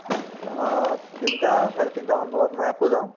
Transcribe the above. অ, তিনটা চাৰে তিনটা মান বজাত মই আকৌ যাওঁ